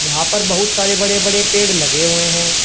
वहां पर बहुत सारे बड़े बड़े पेड़ लगे हुए हैं।